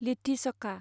लिट्टि चखा